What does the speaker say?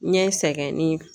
Ɲɛ sɛgɛnni